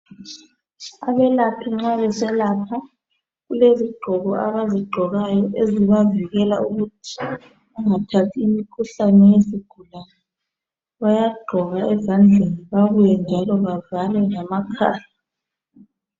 Abelaphi nxa beselapha kulezigqoko abazigqokayo ezibavikela ukuthi bangathathi imikhuhlane yezigulane. Bayagqoka ezandleni babuye njalo bavale lamakhala.